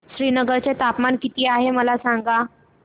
श्रीनगर चे तापमान किती आहे मला सांगा